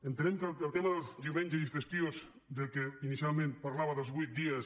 entenem que el tema dels diumenges i festius que inicialment parlava dels vuit dies